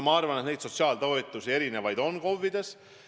Ma arvan, et KOV-ides on erinevaid sotsiaaltoetusi.